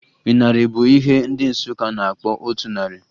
Ịnarị bụ ihe ndị Nsụka na-akpọ otu narị